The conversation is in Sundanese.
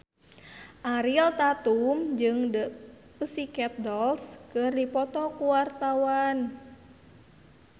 Ariel Tatum jeung The Pussycat Dolls keur dipoto ku wartawan